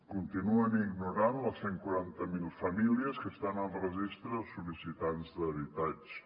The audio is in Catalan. continuen ignorant les cent i quaranta miler famílies que estan al registre de sol·licitants d’habitatge